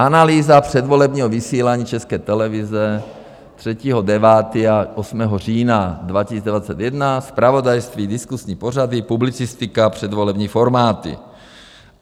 Analýza předvolebního vysílání České televize 3. 9. až 8. října 2021 - zpravodajství, diskusní pořady, publicistika, předvolební formáty.